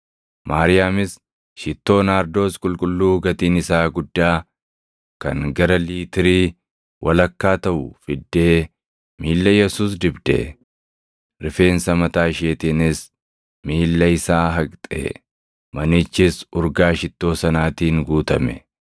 Maariyaamis shittoo Naardoos qulqulluu gatiin isaa guddaa kan gara liitirii walakkaa taʼu fiddee miilla Yesuus dibde; rifeensa mataa isheetiinis miilla isaa haqxe. Manichis urgaa shittoo sanaatiin guutame.